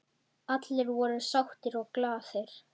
Allir voru sáttir og glaðir.